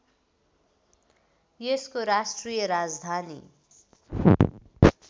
यसको राष्ट्रिय राजधानी